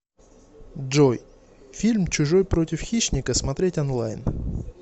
джой фильм чужой против хищника смотреть онлайн